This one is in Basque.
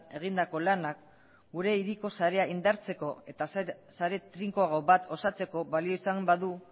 egindako lanak gure hiriko sarea indartzeko eta sare trinkoago bat osatzeko balio izan badu